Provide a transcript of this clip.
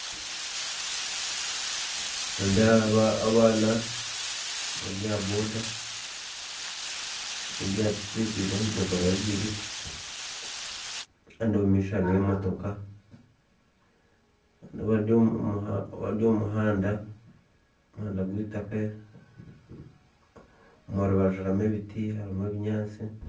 Nindeeba abaana bari aha boda aha piki biine ebidomora bibiri kandi omumaisho hariyo emotoko, haine abari omu muhanda, omuhanda gweitaka omu rubaju harimu ebiti n'ebinyatsi.